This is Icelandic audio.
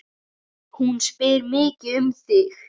Hún spyr mikið um þig.